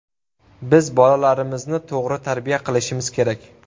Biz bolalarimizni to‘g‘ri tarbiya qilishimiz kerak.